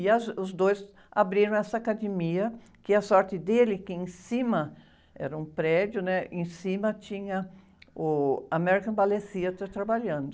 E as, os dois abriram essa academia, que a sorte dele, que em cima, era um prédio, né? Em cima tinha o American Ballet Theatre trabalhando.